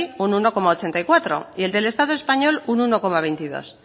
un uno coma ochenta y cuatro y el del estado español un uno coma veintidós